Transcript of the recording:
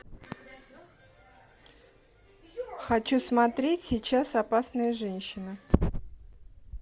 хочу смотреть сейчас опасная женщина